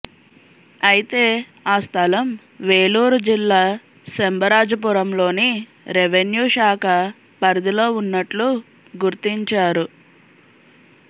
అయితే ఆ స్థలం వేలూరు జిల్లా సెంబరాజపురంలోని రెవిన్యూ శాఖ పరిధిలో ఉన్నట్లు గుర్తించారు